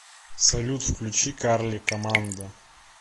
салют включи карли командо